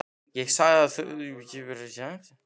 Ég sé að þú hefur rakað þig.